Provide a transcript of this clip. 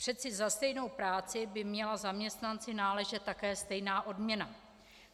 Přece za stejnou práci by měla zaměstnanci náležet také stejná odměna.